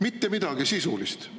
Mitte midagi sisulist!